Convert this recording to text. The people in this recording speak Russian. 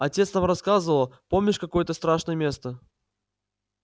отец нам рассказывал помнишь какое это страшное место